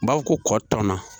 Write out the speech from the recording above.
U b'a fɔ ko kɔ tɔnna